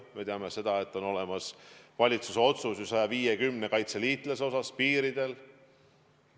Me teame seda, et on ju olemas valitsuse otsus 150 kaitseliitlase kohta piiridel.